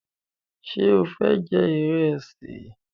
Ṣe o fẹ jẹ ìrẹsì?